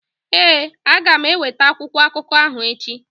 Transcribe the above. Ee, aga m eweta akwụkwọ akụkọ ahụ echi.